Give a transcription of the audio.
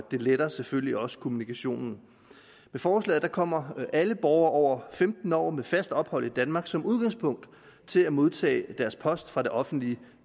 den letter selvfølgelig også kommunikationen med forslaget kommer alle borgere over femten år med fast ophold i danmark som udgangspunkt til at modtage deres post fra det offentlige